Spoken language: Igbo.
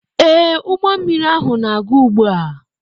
Ee, ụgbọ mmiri ahụ na-aga ugbu a.